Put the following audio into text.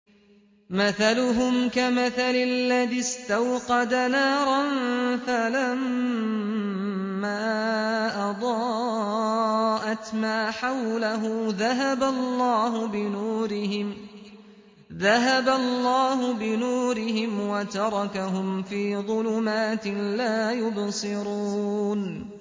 مَثَلُهُمْ كَمَثَلِ الَّذِي اسْتَوْقَدَ نَارًا فَلَمَّا أَضَاءَتْ مَا حَوْلَهُ ذَهَبَ اللَّهُ بِنُورِهِمْ وَتَرَكَهُمْ فِي ظُلُمَاتٍ لَّا يُبْصِرُونَ